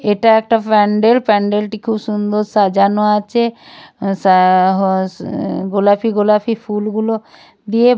এটা একটা প্যান্ডেল প্যান্ডেলটি খুব সুন্দর সাজানো আছে সা হা উম গোলাপি গোলাপি ফুলগুলো দিয়ে--